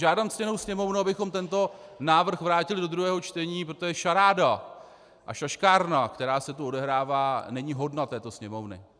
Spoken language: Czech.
Žádám ctěnou Sněmovnu, abychom tento návrh vrátili do druhého čtení, protože šaráda a šaškárna, která se tu odehrává, není hodna této Sněmovny.